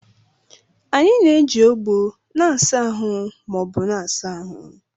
Anyị na-eji ogbo na-asa ahụ ma ọ bụ na-asa ahụ.